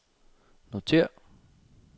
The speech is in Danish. notér